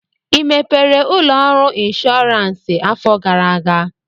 ị mepere ụlọ ọrụ ịnshọọransị afọ gara aga?